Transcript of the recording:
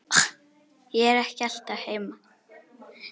Ég er ekki alltaf heima.